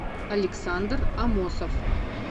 александр аммосов